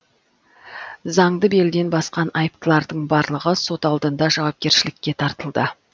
заңды белден басқан айыптылардың барлығы сот алдында жауапкершілікке тартылды